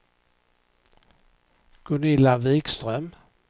Gunilla Vikström